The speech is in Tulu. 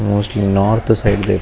mostly north side --